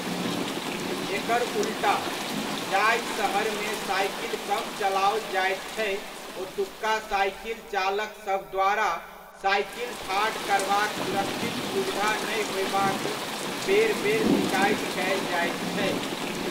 एकर उल्टा, जाहि सहरमे साइकिल कम चलाओल जाइत छै ओतुका साइकिलचालकसभ द्वारा साइकिल ठाढ़ करबाक सुरक्षित सुविधा नहि होयबाक बेर बेर सिकाइति कयल जाइत छै।